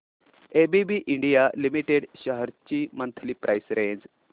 ABB India limited shares ची monthly price range